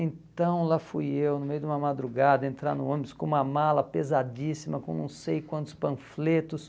Então lá fui eu, no meio de uma madrugada, entrar no ônibus com uma mala pesadíssima, com não sei quantos panfletos.